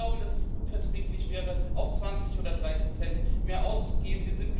Wir glauben, dass es gut verträglich wäre, auch 20 oder 30 Cent mehr auszugeben.